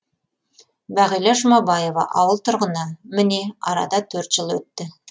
бағила жұмабаева ауыл тұрғыны міне арада төрт жыл өтті